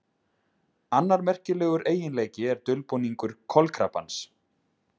Annar merkilegur eiginleiki er dulbúningur kolkrabbans.